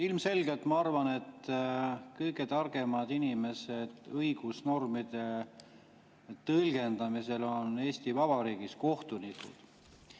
Ilmselgelt ma arvan, et kõige targemad inimesed õigusnormide tõlgendamisel on Eesti Vabariigis kohtunikud.